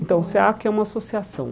Então, o SEACA é uma associação.